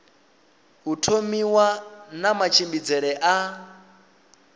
u thomiwa na matshimbidzele a